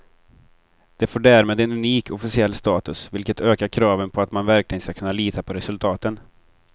Det får därmed en unik officiell status, vilket ökar kraven på att man verkligen ska kunna lita på resultaten.